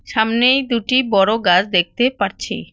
সামনেই দুটি বড়ো গাছ দেখতে পারছি।